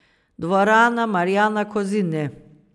Dvorana Marjana Kozine.